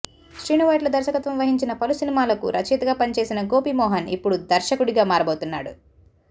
శ్రీను వైట్ల దర్శకత్వం వహించిన పలు సినిమాలకు రచయితగా పనిచేసిన గోపీ మోహన్ ఇప్పుడు దర్శకుడిగా మారబోతున్నాడు